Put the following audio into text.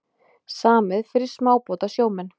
Samið fyrir smábátasjómenn